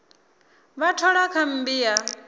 vha thola kha mmbi ya